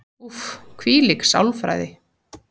Úff, hvílík sálfræði.